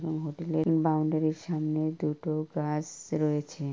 এবং হোটেলের বাউন্ডারির সামনে দুটো গাছ রয়েছে।